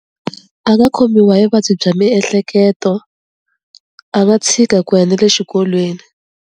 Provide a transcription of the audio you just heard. A nga khomiwa hi vuvabyi bya miehleketo, a nga tshika ku ya na le xikolweni.